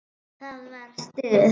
Það var stuð!